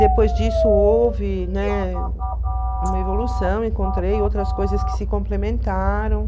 Depois disso, houve, né, uma evolução, encontrei outras coisas que se complementaram.